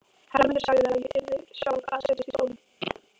Hermundur sagði að ég yrði sjálf að setjast í stólinn.